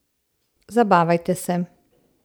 Zabavajte se!